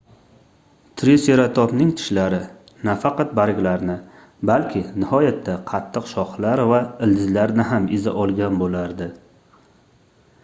triseratopning tishlari nafaqat barglarni balki nihoyatda qattiq shoxlar va ildizlarni ham eza olgan boʻlardi